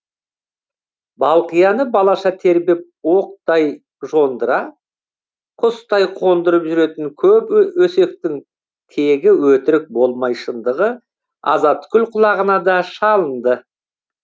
балқияны балаша тербеп оқтай жондыра құстай қондырып жүретін көп өсектің тегі өтірік болмай шындығы азатгүл құлағына да шалынды